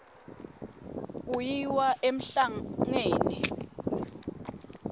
kuyiwa emhlangeni